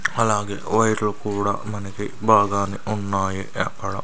అలాగే వైర్లు కూడా మనకి బాగానే ఉన్నాయి ఎక్కడ --